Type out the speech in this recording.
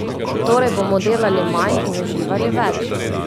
Torej bomo delali manj in uživali več?